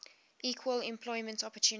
equal employment opportunity